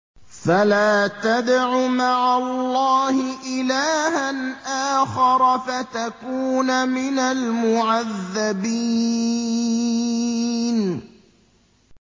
فَلَا تَدْعُ مَعَ اللَّهِ إِلَٰهًا آخَرَ فَتَكُونَ مِنَ الْمُعَذَّبِينَ